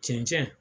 Cɛncɛn